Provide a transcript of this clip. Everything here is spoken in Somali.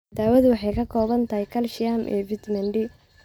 Daawadu waxay ka kooban tahay kaalshiyam iyo fiitamiin D.